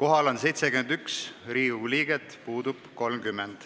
Kohal on 71 Riigikogu liiget, puudub 30.